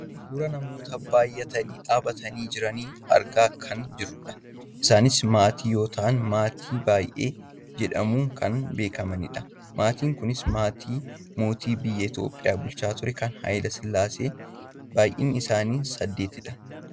Suuraa namoota baayyatanii dhaabbatanii jiran argaa kan jirrudha. Isaanis maatii yoo ta'an maatii baayyee jedhamuun kan beekamanidha. Maatiin kunis maatii mootii biyya Itoophiyaa bulchaa turee kan Hayile sillaaseeti. Baayyinni isaanii saddeetidha.